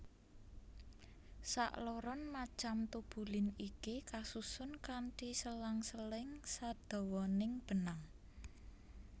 Sakloron macam tubulin iki kasusun kanthi selang seling sadawaning benang